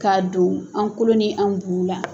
Ka don an kolo ni an bu la.